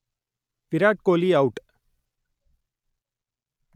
Virat Kohli out